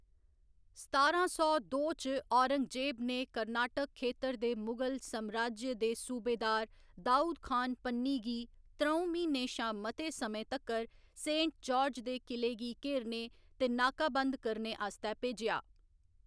सतारां सौ दो च औरंगजेब ने कर्नाटक खेतर दे मुगल समराज्य दे सूबेदार दाऊद खान पन्नी गी त्र'ऊं म्हीनें शा मते समें तक्कर सेंट जार्ज दे किले गी घेरने ते नाकाबंद करने आस्तै भेजेआ।